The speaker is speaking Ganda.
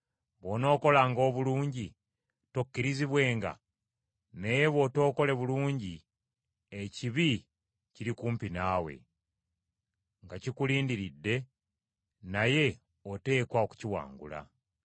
Bw’onookolanga obulungi tokkirizibwenga? Naye bw’otokole bulungi ekibi, kiri kumpi naawe, nga kikulindiridde, naye oteekwa okukiwangula.”